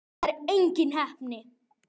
Það er engin heppni.